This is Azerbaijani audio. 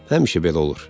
Həmişə belə olur.